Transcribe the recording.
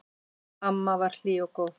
Amma var hlý og góð.